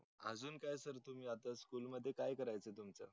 अजून काय sir तुम्ही school मध्ये अभ्यास काय करायचे तुमच्या